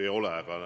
Ei ole!